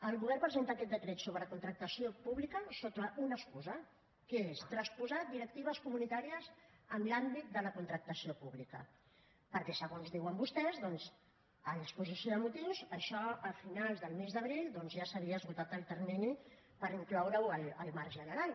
el govern presenta aquest decret sobre contractació pública sota una excusa que és transposar directives comunitàries en l’àmbit de la contractació pública perquè segons diuen vostès a l’exposició de motius això a finals del mes d’abril doncs ja s’havia esgotat el termini per incloureho al marc general